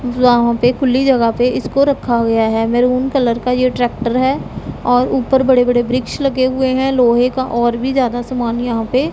जहां पे खुली जगह पे इसको रखा गया है मैरून कलर का ये ट्रैक्टर है और ऊपर बड़े-बड़े वृक्ष लगे हुए हैं लोहे का और भी ज्यादा सामान यहां पे --